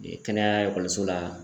kɛnɛya ekɔliso la